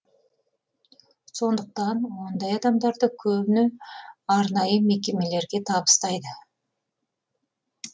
сондықтан ондай адамдарды көбіне арнайы мекемелерге табыстайды